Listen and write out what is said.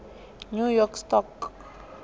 new york stock